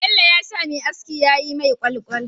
Bello yasa Me aski yayi mai kwalkwal